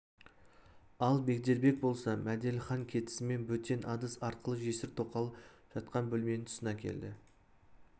ал бегдербек болса мәделіхан кетісімен бөтен адыз арқылы жесір тоқал жатқан бөлменің тұсына келді